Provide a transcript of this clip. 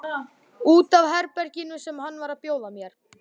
Út af herberginu sem hann var að bjóða mér.